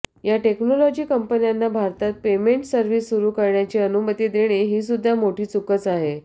या टेक्नॉलॉजी कंपन्यांना भारतात पेमेन्ट सर्व्हिस सुरू करण्याची अनुमती देणे हीसुद्धा मोठी चूकच आहे